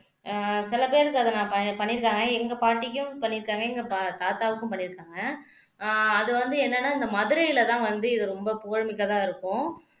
அஹ் சில பேருக்கு அத நான் பண் பண்ணியிருக்காங்க எங்க பாட்டிக்கும் பண்ணியிருக்காங்க எங்க தாத்தாவுக்கும் பண்ணியிருக்காங்க அது வந்து என்னன்னா இந்த மதுரையிலதான் வந்து இது ரொம்ப புகழ்மிக்கதா இருக்கும்